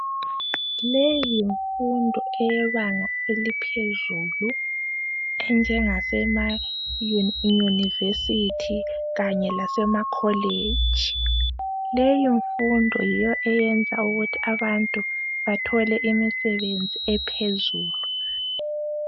Leyi yinfundo eyebanga eliphezulu ,enjengesemayunivesithi kanye lasemakoleji .Leyo nfundo yiyo Eyenza ukuthi abantu bathole imisebenzi ephezulu.